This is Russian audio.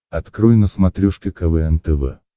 открой на смотрешке квн тв